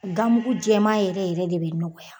Gamugu jɛman yɛrɛ yɛrɛ de bɛ nɔgɔya.